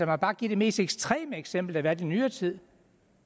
mig bare give det mest ekstreme eksempel der har været i nyere tid